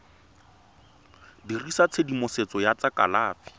dirisa tshedimosetso ya tsa kalafi